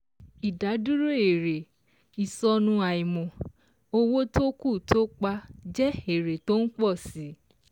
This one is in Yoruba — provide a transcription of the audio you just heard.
Ìdádúró èrè /ìsọnù àìmọ̀ - owó tó kù tó pa jẹ́ èrè tó ń pọ̀ si